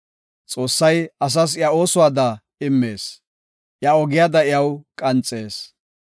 Xoossay asas iya oosuwada immees; iya ogiyada iyaw qanxees.